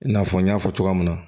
I n'a fɔ n y'a fɔ cogoya min na